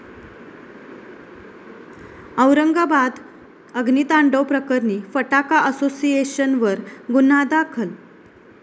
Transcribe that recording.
औरंगाबाद अग्नितांडव प्रकरणी फटाका असोसिएशनवर गुन्हा दाखल